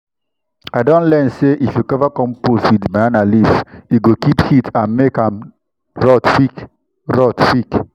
i don learn say if you cover compost with banana leaf e go keep heat and make am rot quick. rot quick.